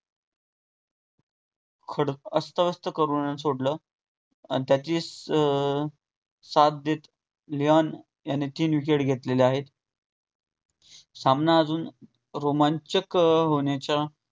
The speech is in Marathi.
अस्तव्यस्त करून सोडलं आणि त्याचीच अं साथ देत लिवोन याने तीन wicket घेतलेले आहेत. सामना अजून रोमांचक होण्याच्या